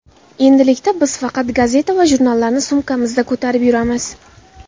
Endilikda biz faqat gazeta va jurnallarni sumkamizda ko‘tarib yuramiz.